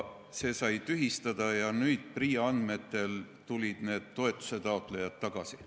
See sai tühistatud ja PRIA andmetel on need toetusetaotlejad tagasi.